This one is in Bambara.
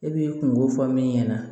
E b'i kungo fɔ min ɲɛna